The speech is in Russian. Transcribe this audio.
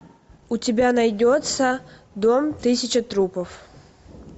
у тебя найдется дом тысячи трупов